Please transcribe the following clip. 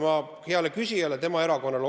Ma osutan hea küsija erakonnale.